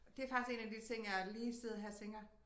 Det faktisk 1 af de ting jeg lige sidder her og tænker